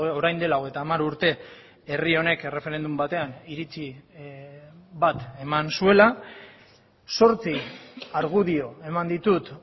orain dela hogeita hamar urte herri honek erreferendum batean iritzi bat eman zuela zortzi argudio eman ditut